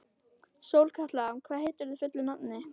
Sólkatla, hvað heitir þú fullu nafni?